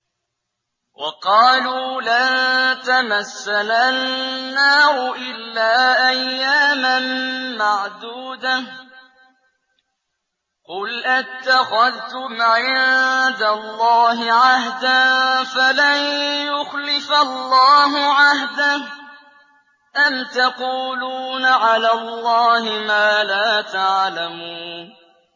وَقَالُوا لَن تَمَسَّنَا النَّارُ إِلَّا أَيَّامًا مَّعْدُودَةً ۚ قُلْ أَتَّخَذْتُمْ عِندَ اللَّهِ عَهْدًا فَلَن يُخْلِفَ اللَّهُ عَهْدَهُ ۖ أَمْ تَقُولُونَ عَلَى اللَّهِ مَا لَا تَعْلَمُونَ